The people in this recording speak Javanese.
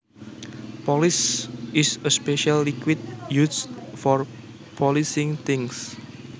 Polish is a special liquid used for polishing things